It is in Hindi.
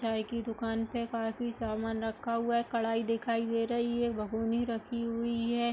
चाय की दुकान पे काफी सामान रखा हुआ है। कढ़ाई दिखाई दे रही है भगौने रखी हुई है।